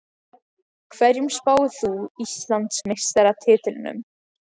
Hverjum spáir þú Íslandsmeistaratitlinum?